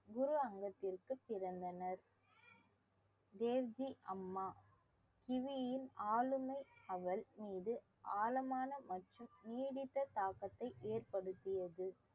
குரு அங்கத்திற்கு பிறந்தனர் தேவ்ஜி அம்மா கிவியின் ஆளுமை அவள் மீது ஆழமான மற்றும் நீடித்த தாக்கத்தை ஏற்படுத்தியது